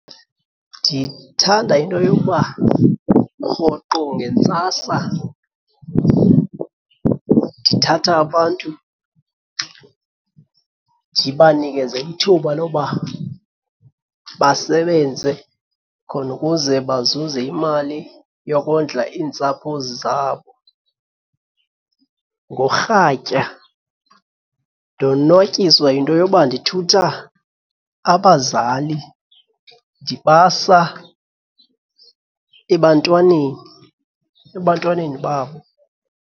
Ndithanda into yokuba rhoqo ngentsasa ndithatha abantu ndibanikeze ithuba loba basebenze khona ukuze bazuze imali yokondla iintsapho zabo. Ngorhatya ndonwatyiswa yinto yoba ndithutha abazali ndibasa ebantwaneni, ebantwaneni babo.